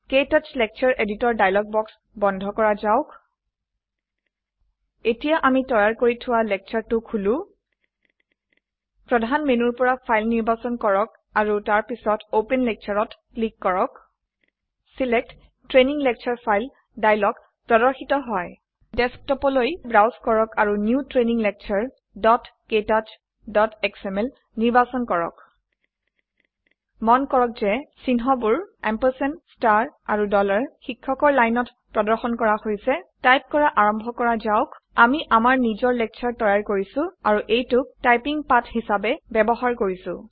ক্তৌচ lecture editor dialog box বন্ধ কৰা যাওক এতিয়া আমি তৈয়াৰ কৰি থোৱা lectureটো খুলু প্ৰধান মেনুৰ পৰা ফাইল নিৰ্বাচন কৰক আৰু তাৰ পিছত অপেন Lectureত ক্লিক কৰক select training lecture file dialog প্ৰদৰ্শিত হয় ডেস্কটপলৈ ব্ৰাউজ কৰক আৰু নিউ ট্ৰেইনিং lecturektouchএসএমএল নিৰ্বাচন কৰক মন কৰক যে চিহ্নবোৰ এএমপি আৰু শিক্ষকৰ lineত প্ৰদৰ্শন কৰা হৈছে টাইপ কৰা আৰম্ভ কৰা যাওক আমি আমাৰ নিজৰ লেকচাৰ তৈয়াৰ কৰিছো আৰু এইটোক টাইপিং পাঠ হিসাবে ব্যবহাৰ কৰিছো160